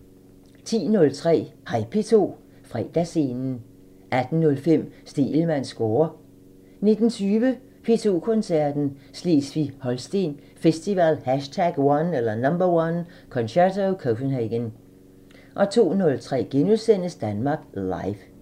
10:03: Hej P2 – Fredagsscenen 18:05: Stegelmanns score 19:20: P2 Koncerten – Slesvig-Holsten Festival #1 – Concerto Copenhagen 02:03: Danmark Live *